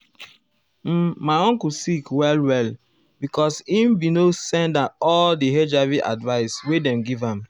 um my uncle sick well well because e bin no send all di hiv advise wey dem give am.